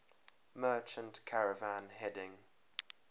merchant caravan heading